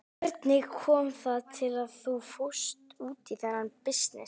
Hvernig kom það til að þú fórst út í þennan bisness?